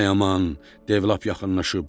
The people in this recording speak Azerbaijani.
Ay aman, dev lap yaxınlaşıb.